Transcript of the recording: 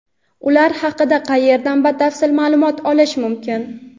Ular haqida qayerdan batafsil maʼlumot olish mumkin?.